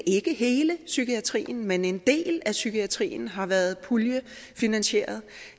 ikke hele psykiatrien men en del af psykiatrien har været puljefinansieret